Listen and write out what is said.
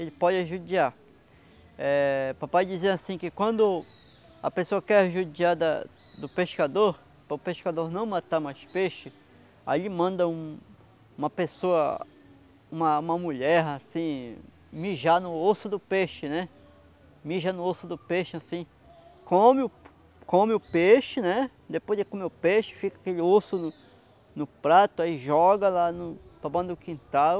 ele pode judiar eh, papai dizia assim que quando a pessoa quer judiar da do pescador para o pescador não matar mais peixe ai ele manda um uma pessoa uma uma mulher assim mijar no osso do peixe né, mija no osso do peixe assim come come o peixe depois ele come o peixe fica aquele osso no prato ai joga lá no no quintal